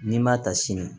N'i m'a ta sini